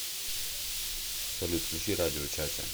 салют включи радио чача